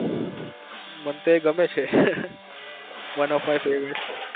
મને તો એ ગમે છે one of my favourite